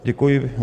Děkuji.